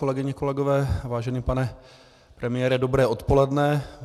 Kolegyně, kolegové, vážený pane premiére, dobré odpoledne.